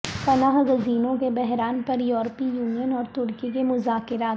پناہ گزینوں کے بحران پر یورپی یونین اور ترکی کے مذاکرات